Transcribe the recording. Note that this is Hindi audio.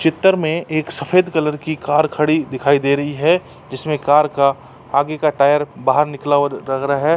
चितर में एक सफ़ेद कलर की कार खड़ी दिखाई दे रही है। जिसमे कार का आगे का टायर बाहर निकला हुआ लग रहा है।